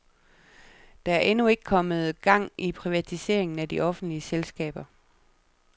Der er endnu ikke kommet gang i privatiseringerne af de offentlige selskaber.